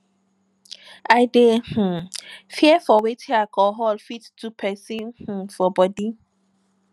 i dey um fear for wetin alcohol fit um do pesin for um bodi